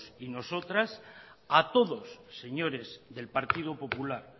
y nosotras a todos señores del partido popular